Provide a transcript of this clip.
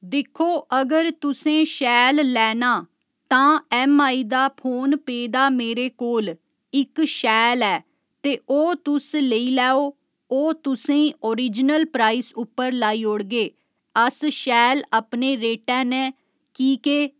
दिक्खो अगर तुसें शैल लैना तां ऐम्मआई दा फोन पेदा मेरे कोल इक शैल ऐ ते ओह् तुस लेई लैओ ओह् तुसें ई ओरीजिनल प्राइस उप्पर लाई ओड़गे अस शैल अपने रेटै नै की के